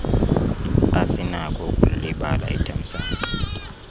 asinako ukulilibala ithamsanqa